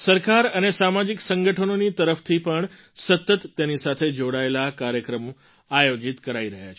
સરકાર અને સામાજિક સંગઠનોની તરફથી પણ સતત તેની સાથે જોડાયેલા કાર્યક્રમ આયોજિત કરાઈ રહ્યા છે